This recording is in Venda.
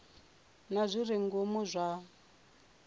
na zwi re ngomu zwa